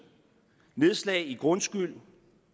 nedslag i grundskyld og